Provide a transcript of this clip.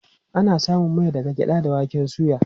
Ana samun mai daga gyaɗa da waken soya.